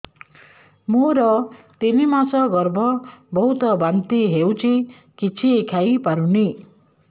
ମୋର ତିନି ମାସ ଗର୍ଭ ବହୁତ ବାନ୍ତି ହେଉଛି କିଛି ଖାଇ ପାରୁନି